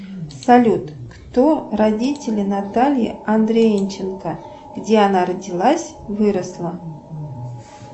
салют кто родители натальи андрейченко где она родилась выросла